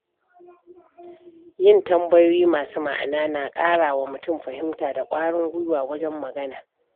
Yin tambayoyi masu ma’ana na ƙara wa mutum fahimta da kwarin guiwa wajen magana.